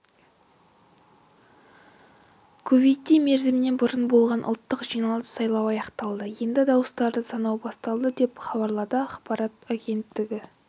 кувейтте мерзімінен бұрын болған ұлттық жиналыс сайлауы аяқталды енді дауыстарды санау басталды деп хабарлады ақпарат агенттігі